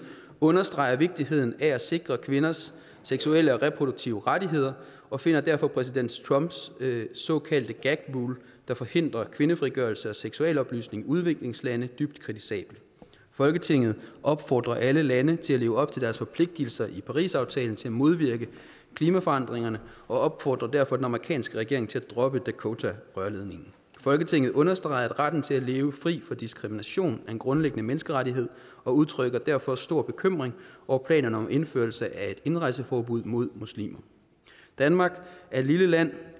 understreger vigtigheden af at sikre kvinders seksuelle og reproduktive rettigheder og finder derfor præsident trumps såkaldte gag rule der forhindrer kvindefrigørelse og seksualoplysning i udviklingslande dybt kritisabel folketinget opfordrer alle lande til at leve op til deres forpligtelser i parisaftalen til at modvirke klimaforandringerne og opfordrer derfor den amerikanske regering til at droppe dakotarørledningen folketinget understreger at retten til at leve fri for diskrimination er en grundlæggende menneskerettighed og udtrykker derfor stor bekymring over planerne om indførelse af et indrejseforbud mod muslimer danmark er et lille land